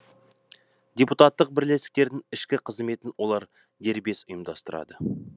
депутаттық бірлестіктердің ішкі қызметін олар дербес ұйымдастырады